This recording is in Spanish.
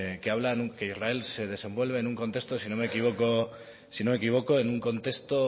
que hablan que israel se desenvuelve si no me equivoco en un contexto